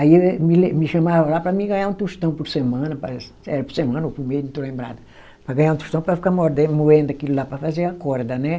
Aí me le, me chamavam lá para mim ganhar um tostão por semana parece, era por semana ou por mês, não estou lembrada, para ganhar um tostão para ficar morden, moendo aquilo lá para fazer a corda, né.